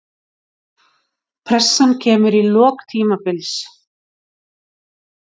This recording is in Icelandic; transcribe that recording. Pressan kemur í lok tímabils.